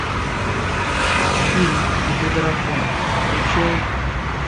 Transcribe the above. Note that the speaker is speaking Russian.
фильм где дракон включай